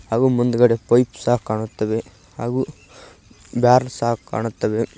ಹಾಗು ಮುಂದ್ಗಡೆ ಫೈಪ್ ಸಹ ಕಾಣುತ್ತವೆ ಹಾಗು ಬ್ಯಾರೆಲ್ ಸಹ ಕಾಣುತ್ತವೆ.